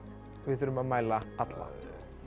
og við þurfum að mæla alla